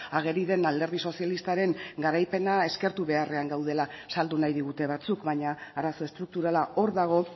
ageri den alderdi sozialistaren garaipena eskertu beharrean gaudela saldu nahi digute batzuk baina arazo estrukturala hor dago